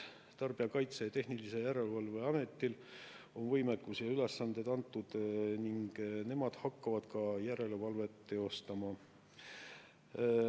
Tarbijakaitse ja Tehnilise Järelevalve Ametil on võimekus ja neile on ülesanded antud ning nemad hakkavad ka järelevalvet teostama.